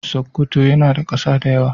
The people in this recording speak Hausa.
Sokoto yana da kasa da yawa.